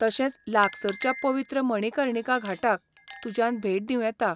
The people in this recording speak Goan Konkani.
तशेंच लागसारच्या पवित्र मणिकर्णिका घाटाक तुज्यान भेट दिवं येता.